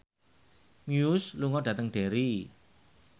Muse lunga dhateng Derry